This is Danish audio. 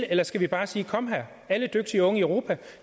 eller skal vi bare sige kom her alle dygtige unge i europa